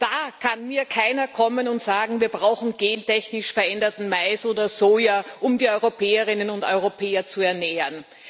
Da kann mir keiner kommen und sagen Wir brauchen gentechnisch veränderten Mais oder Soja, um die Europäerinnen und Europäer zu ernähren.